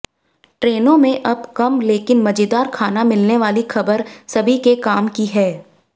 ट्रेनों में अब कम लेकिन मजेदार खाना मिलने वाली खबर सभी के काम की है